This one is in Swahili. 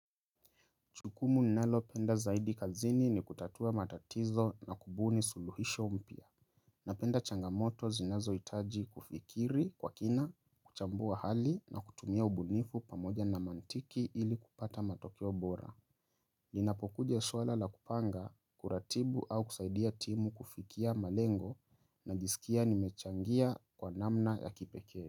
Jukumu ninalopenda zaidi kazini ni kutatua matatizo na kubuni suluhisho mpya. Napenda changamoto zinazohitaji kufikiri kwa kina, kuchambua hali na kutumia ubunifu pamoja na mantiki ili kupata matokeo bora. Linapokuja swala la kupanga, kuratibu au kusaidia timu kufikia malengo najisikia nimechangia kwa namna ya kipekee.